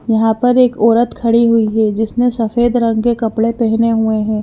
यहां पर एक औरत खड़ी हुई है जिसनें सफेद रंग के कपड़े पहने हुए हैं।